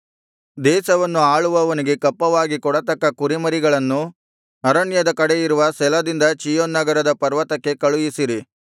ದೇಶವನ್ನು ಆಳುವವನಿಗೆ ಕಪ್ಪವಾಗಿ ಕೊಡತಕ್ಕ ಕುರಿಮರಿಗಳನ್ನು ಅರಣ್ಯದ ಕಡೆಯಿರುವ ಸೆಲದಿಂದ ಚೀಯೋನ್ ನಗರದ ಪರ್ವತಕ್ಕೆ ಕಳುಹಿಸಿರಿ